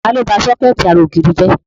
Ta ló ba sọ́kẹ̀tì ara ògiri jẹ?